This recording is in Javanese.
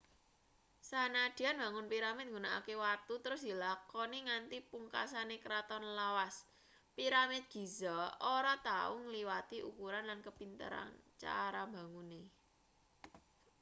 sanadyan mbangun piramid nggunakake watu terus dilakoni nganti pungkasane kraton lawas piramid giza ora tau ngliwati ukuran lan kepinteran cara mbangune